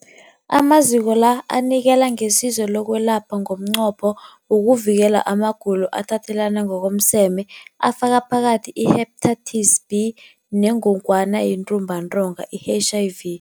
Amaziko la anikela ngesizo lokwelapha ngomnqopho wokuvikela amagulo athathelana ngokomseme afaka phakathi i-Hepatitis B neNgogwana yeNtumbantonga, i-HIV.